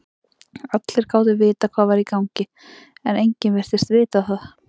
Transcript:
Allir gátu vitað hvað var í gangi, en enginn virtist vita það.